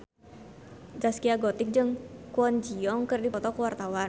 Zaskia Gotik jeung Kwon Ji Yong keur dipoto ku wartawan